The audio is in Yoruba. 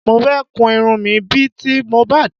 Mo fẹ́ kun irun mi bí i ti MOHBAD